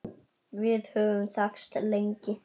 Við höfum þekkst lengi.